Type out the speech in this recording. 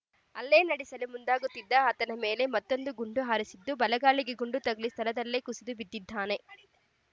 ಹಲ್ಲೆ ನಡೆಸಲು ಮುಂದಾಗುತ್ತಿದ್ದ ಆತನ ಮೇಲೆ ಮತ್ತೊಂದು ಗುಂಡು ಹಾರಿಸಿದ್ದು ಬಲಗಾಲಿಗೆ ಗುಂಡು ತಗುಲಿ ಸ್ಥಳದಲ್ಲೇ ಕುಸಿದು ಬಿದ್ದಿದ್ದಾನೆ